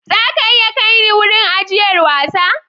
Za a iya kai ni wurin ajiyar wasa?